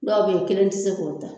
Dɔw bɛ ye i kelen tɛ se k'o ta.